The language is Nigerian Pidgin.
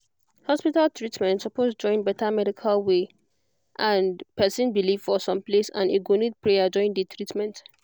hospital treatment suppose join better medical way medical way and person belief for some place and e go need prayer join the treatment